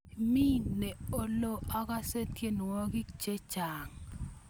Mi ne olo? Akase tyenwogik chechang'